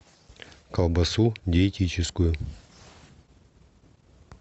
колбасу диетическую